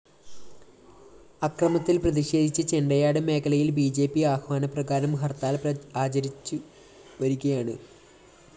അക്രമത്തില്‍ പ്രതിഷേധിച്ച് ചെണ്ടയാട് മേഖലയില്‍ ബി ജെ പി ആഹ്വാനപ്രകാരം ഹര്‍ത്താല്‍ ആചരിച്ചുവരികയാണ്